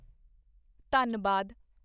Dhanbad